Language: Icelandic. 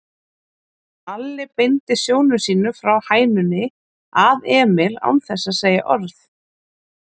Alli beindi sjónum sínum frá hænunni að Emil án þess að segja orð.